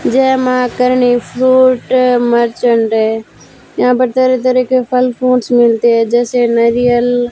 जय मां Karni fruit merchant यहां तरह तरह के फल फ्रूट्स मिलते हैं जैसे नारियल --